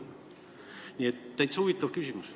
Nii et täitsa huvitav küsimus.